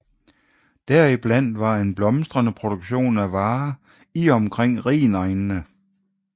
Deriblandt var en blomstrende produktion af varer i og omkring rhinegnene